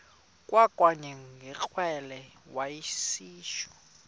kwakanye ngekrele wayishu